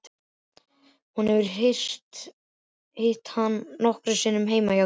Hún hefur hitt hann nokkrum sinnum heima hjá þeim.